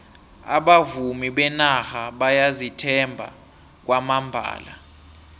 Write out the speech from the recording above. abavumi benarha bayazithemba kwamambala